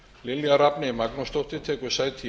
lilja rafney magnúsdóttir tekur sæti